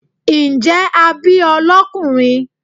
njẹ a bí o lọkunrin?